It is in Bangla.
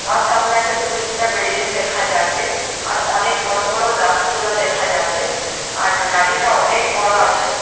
আ- সামনে একটা দু তিনটা বিল্ডিং দেখা যাচ্ছে আর অনেক বড় বড় গাছ তোলা দেখা যাচ্ছে আর গাড়িটা অনেক বড় আছে।